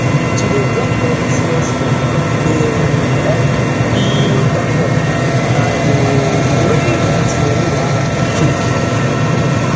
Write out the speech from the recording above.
to dey drop money smallsmall dey help you build backup and no um go let let money wahala choke you